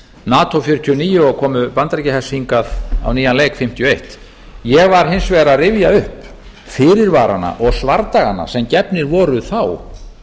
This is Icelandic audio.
nato nítján hundruð fjörutíu og níu og komu bandaríkjahers hingað á nýjan leik nítján hundruð fimmtíu og eitt ég var hins vegar að rifja upp fyrirvarana og svardagana sem gefnir voru þá